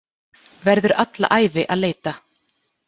Verður alla ævi að leita.